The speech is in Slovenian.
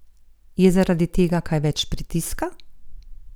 Je zaradi tega kaj več pritiska?